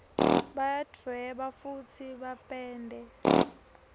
bayadvueba fusi bapende